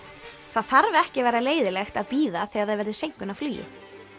það þarf ekki að vera leiðinlegt að bíða þegar það verður seinkun á flugi